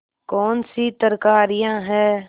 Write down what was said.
कौनसी तरकारियॉँ हैं